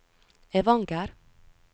Evanger